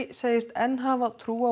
segist enn hafa trú á